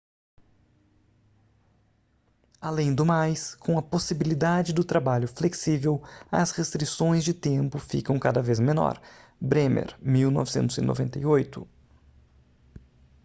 além do mais com a possibilidade do trabalho flexível as restrições de tempo ficam cada vez menor. bremer 1998